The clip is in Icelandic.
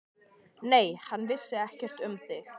Nei, hann vissi ekkert um þig.